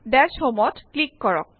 দাশ homeত ক্লিক কৰক